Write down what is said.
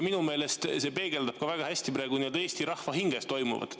Minu meelest see peegeldab väga hästi praegu Eesti rahva hinges toimuvat.